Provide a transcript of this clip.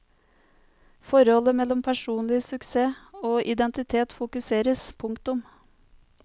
Forholdet mellom personlig suksess og identitet fokuseres. punktum